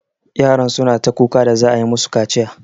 Yaran suna ta kuka da za'a yi musu kaciya.